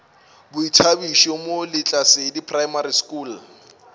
boithabišo mo lehlasedi primary school